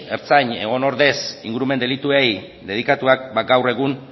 ertzain egon ordez ingurumen delituei dedikatuak ba gaur egun